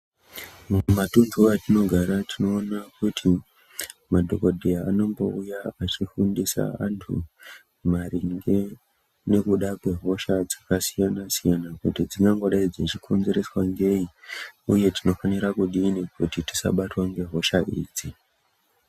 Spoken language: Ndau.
Mumatunhu atinogara tinoona kuti madhogodheya anombouya achifundisa antu maringe nekuda kwehosha dzakasiyana-siyana dzingangodai dzichikonzereswa ngei, uye tinofanira kudini tisabatwa ngehosha idzi.